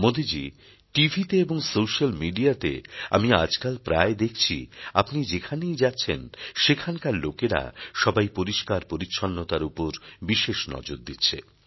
মোদিজী টিভিতে এবং সোশ্যাল মিডিয়াতে আমি আজকাল প্রায় দেখছি আপনি যেখানেই যাচ্ছেন সেখানকার লোকেরা সবাই পরিস্কার পরিচ্ছন্নতার উপর বিশেষ নজর দিচ্ছে